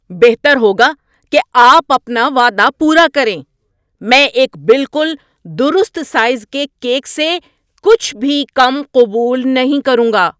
بہتر ہوگا کہ آپ اپنا وعدہ پورا کریں۔ میں ایک بالکل درست سائز کے کیک سے کچھ بھی کم قبول نہیں کروں گا۔